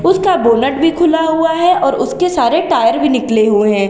उसका बोनट भी खुला हुआ है और उसके सारे टायर भी निकले हुए हैं।